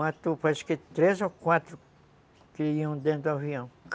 Matou quase três ou quatro que iam dentro do avião.